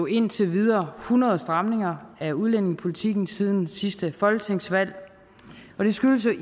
indtil videre hundrede stramninger af udlændingepolitikken siden sidste folketingsvalg og det skyldes jo